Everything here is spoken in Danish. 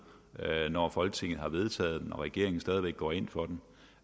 når folketinget har vedtaget den og regeringen stadig væk går ind for den